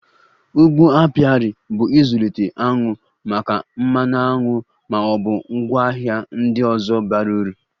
Ugbo apiarị bụ ịzụlite aṅụ maka mmanụ aṅụ ma ọ bụ ngwaahịa ndị ọzọ bara uru